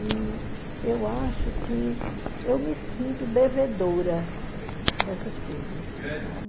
E eu acho que eu me sinto devedora dessas coisas, sabe?